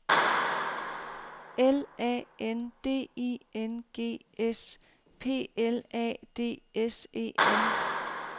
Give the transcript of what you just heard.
L A N D I N G S P L A D S E N